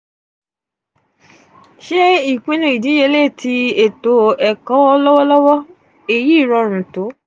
two ṣe ipinnu idiyele ti eto-ẹkọ lọwọlọwọ: eyi rọrun to.